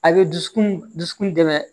A bɛ dusukun dusukun dɛmɛ